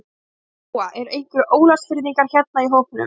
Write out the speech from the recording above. Lóa: Eru einhverjir Ólafsfirðingar hérna í hópnum?